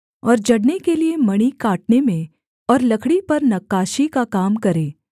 और जड़ने के लिये मणि काटने में और लकड़ी पर नक्काशी का काम करे